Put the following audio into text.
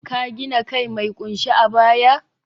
ka gina kai mai kunshe a baya?